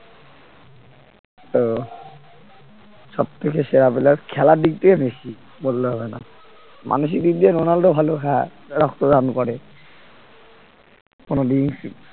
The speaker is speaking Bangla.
তো সব থেকে সেরা player খেলার দিক থেকে মেসি বললে হবে না মানসিক দিক দিয়ে রোনাল্ডো ভালো হ্যাঁ রক্তদান করে কোন drink